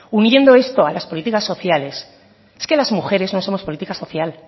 uniendo esto a las políticas sociales es que las mujeres no somos política social